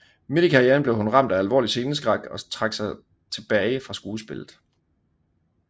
Midt i karrieren blev hun ramt af alvorlig sceneskræk og trak sig tilbage fra skuespillet